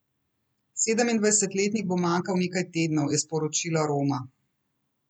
Sedemindvajsetletnik bo manjkal nekaj tednov, je sporočila Roma.